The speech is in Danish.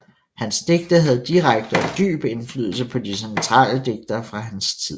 Hans digte havde direkte og dyb indflydelse på de centrale digtere fra hans tid